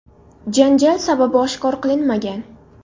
Janjal sababi oshkor qilinmagan.